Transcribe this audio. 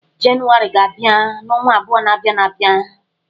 Janụwarị ga-abia n'ọnwa abụo na-abịan abịa.